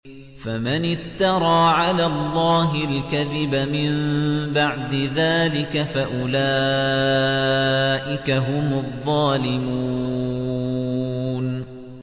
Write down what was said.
فَمَنِ افْتَرَىٰ عَلَى اللَّهِ الْكَذِبَ مِن بَعْدِ ذَٰلِكَ فَأُولَٰئِكَ هُمُ الظَّالِمُونَ